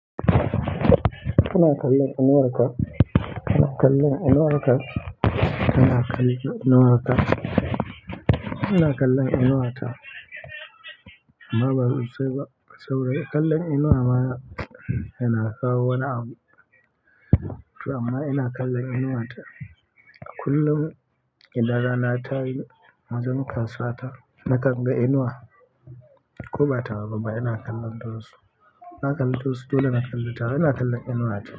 Kana kallon inuwar kaa, kana kallon inuwar ka, kana kallon inuwar ka. Ina kallon inuwa ta. Amma ba sosaai ba, saboda kallon inuwa ma yana kawo wani abu. To amma ina kallon inuwa ta. A kullum idan rana tayi, wajen kasuwa ta, na kan ga inuwa. Ko ba tawa ba ba ina kallon ta wasu na kalli ta wasu, dole na kalli tawa, ina kallon inuwa ta.